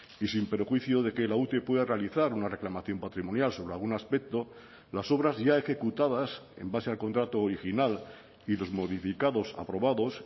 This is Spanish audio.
y sin perjuicio de que la ute pueda realizar una reclamación patrimonial sobre algún aspecto las obras ya ejecutadas en base al contrato original y los modificados aprobados